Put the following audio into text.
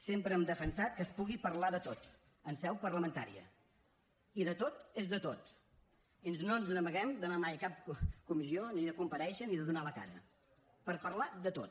sempre hem defensat que es pugui parlar de tot en seu parlamentària i de tot és de tot i no ens n’amaguem d’anar mai a cap comissió ni de comparèixer ni de donar la cara per parlar de tot